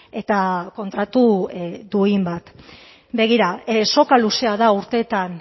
eta kontratu duin bat begira soka luzea da urteetan